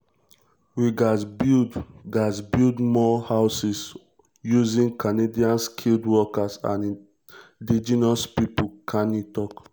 we gatz build gatz build more um houses using um canadian skilled workers and indigenous pipo" carney tok.